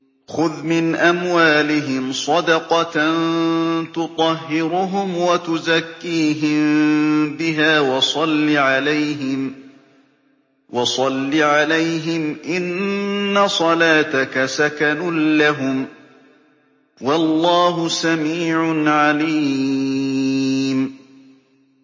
خُذْ مِنْ أَمْوَالِهِمْ صَدَقَةً تُطَهِّرُهُمْ وَتُزَكِّيهِم بِهَا وَصَلِّ عَلَيْهِمْ ۖ إِنَّ صَلَاتَكَ سَكَنٌ لَّهُمْ ۗ وَاللَّهُ سَمِيعٌ عَلِيمٌ